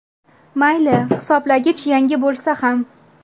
Mayli, hisoblagich yangi bo‘lsa ham.